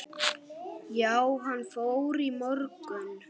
Já, hann fór í morgun